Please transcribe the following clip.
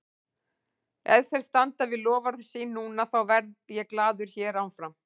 Ef þeir standa við loforð sín núna, þá verð ég glaður hér áfram.